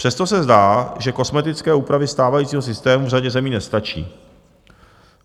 Přesto se zdá, že kosmetické úpravy stávajícího systému v řadě zemí nestačí.